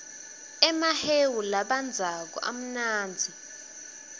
emahewu labandzako amnanzi